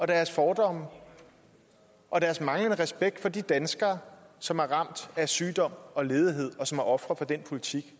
deres fordomme og deres manglende respekt for de danskere som er ramt af sygdom og ledighed og som er ofre for den politik